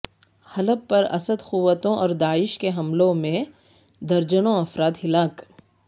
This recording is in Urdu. حلب پر اسد قوتوں اور داعش کے حملوں مییں درجنوں افراد ہلاک